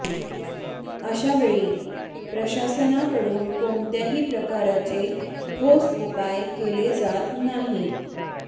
अशावेळी प्रशासनाकडून कोणत्याही प्रकारचे ठोस उपाय केले जात नाहीत